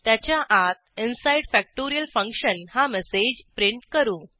त्याच्या आत inside factorial function हा मेसेज प्रिंट करू